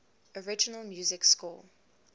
original music score